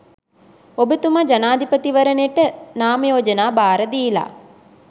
ඔබතුම ජනපතිවරනෙට නාම යෝජනා බාර දීල